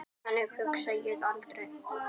Þannig hugsa ég aldrei.